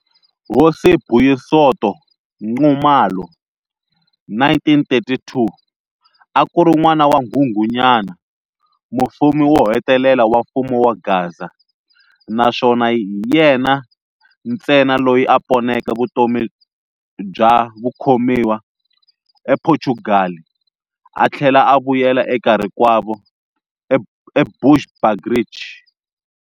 Hosi Buyisonto Nxumalo, 1932, akuri n'wana wa Nghunghunyana, mufumi wohetelela wa mfumo wa Gaza, naswona hi yena ntsena loyi a poneke vutomi bya vukhomiwa e phochugali a thlela a vuyela eka rikwavo eBushbuckridge.